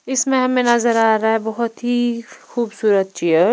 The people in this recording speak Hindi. इसमें हमें नजर आ रहा है बहोत ही खूबसूरत चेयर --